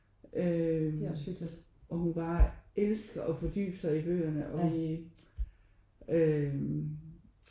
Øh og hun bare elsker at fordybe sig i bøgerne og vi øh